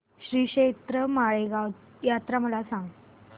श्रीक्षेत्र माळेगाव यात्रा मला सांग